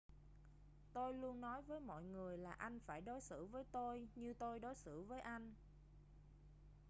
tôi luôn nói với mọi người là anh phải đối xử với tôi như tôi đối xử với anh